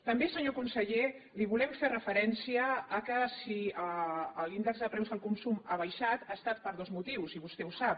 també senyor conseller li volem fer referència al fet que si l’índex de preus al consum ha baixat ha estat per dos motius i vostè ho sap